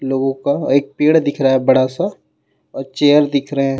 लोगो का एक पेड़ दिख रहा हे बड़ा सा और चेर दिख रहे हे.